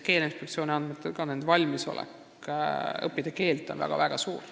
Keeleinspektsiooni andmetel on ka nende valmisolek keelt õppida väga-väga suur.